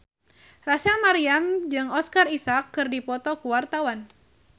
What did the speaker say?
Rachel Maryam jeung Oscar Isaac keur dipoto ku wartawan